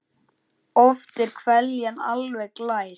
Oft er hveljan alveg glær.